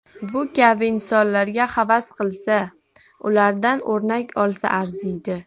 Bu kabi insonlarga havas qilsa, ulardan o‘rnak olsa arziydi.